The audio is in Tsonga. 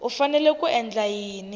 u fanele ku endla yini